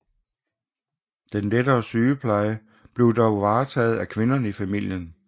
Den lettere sygepleje blev dog varetaget af kvinder i familierne